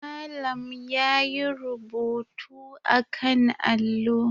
Malam yayi rubutu akan allo.